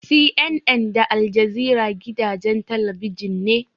CNN da Aljazeera gidajen talabijin ne.